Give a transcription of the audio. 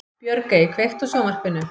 Björgey, kveiktu á sjónvarpinu.